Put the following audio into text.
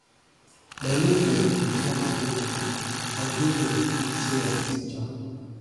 my mate dem dey travel go yankee i dey here say i be teacher